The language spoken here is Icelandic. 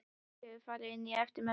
Júlía hefur farið inn á eftir mömmu.